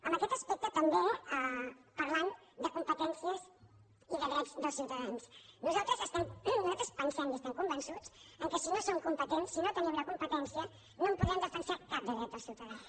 en aquest aspecte també parlant de competències i de drets dels ciutadans nosaltres pensem i estem convençuts que si no som competents si no tenim la competència no en podem defensar cap de dret dels ciutadans